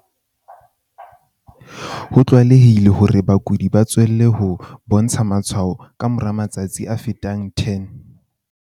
Ho tlwaelehile hore bakudi ba tswelle ho bontsha matshwao ka mora matsatsi a fetang 10.